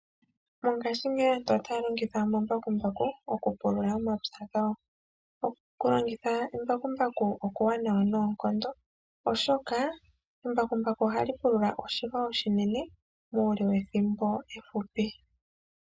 Mongashingeyi aantu otaya longitha omambakumbaku okupulula omapya gawo. Okulongitha embakumbaku oshiwanawa noonkondo oshoka embakumbaku oha li pulula oshilwa oshinene muule wethimbo efupi.